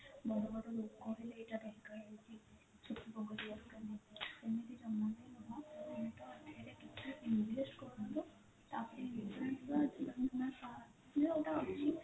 ବଡ ବଡ ଲୋକ ହେଲେ ଏମିତି ଜମା ବି ନୁହଁ ଆପଣ ଏଥିରେ କିଛି invest କରନ୍ତୁ ତାପରେ insurance ର ଯଉଟା ଅଛି